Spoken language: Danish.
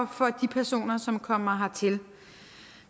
for de personer som kommer hertil